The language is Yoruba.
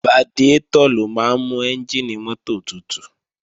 Radiátọ̀ ló máa ń mú ẹ́njìnì mọ́tò tutù